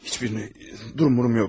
Heç birini, durum-zad yox.